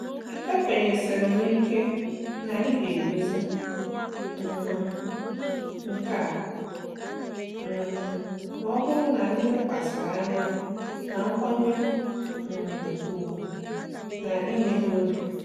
Ekwenyesiri m ike na anyị ga-edozi um nke a um ma ọ bụrụ na anyị lekwasịrị anya na nkwanye um ùgwù na imeghe obi.